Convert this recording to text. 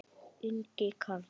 Ingi Karl.